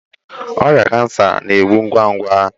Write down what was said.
Ọrịa cancer na-egbu ngwa ngwa